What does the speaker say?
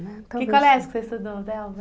Né? Que colégio que você estudou, Delva?